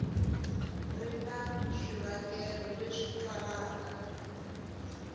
ri na swivangelo leswi twalaka